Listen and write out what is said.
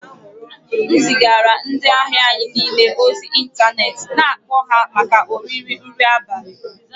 M zigara ndị ahịa anyị niile ozi ịntanetị na-akpọ ha maka oriri nri abalị